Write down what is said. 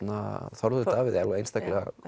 Þorvaldur alveg einstaklega